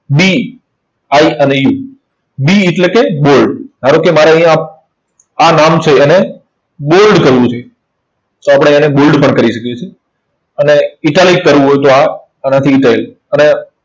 B, I અને U. B એટલે કે bold ધારો કે મારે અહીંયા આ નામ છે એને bold કરવું છે. તો આપણે એને bold પણ કરી શકીશું. અને italic કરવું હોય તો આ આનાથી italic અને